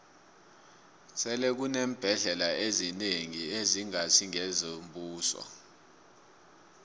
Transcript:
sele kuneembhendlela ezinengi ezingasi ngezombuso